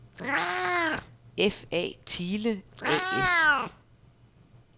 F.A. Thiele A/S